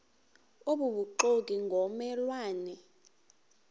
obubuxoki ngomme lwane